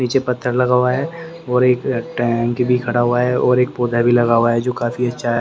नीचे पत्थर लगा हुआ है और एक टैंक भी खड़ा हुआ है और एक पौधा भी लगा हुआ है जो काफी अच्छा ह--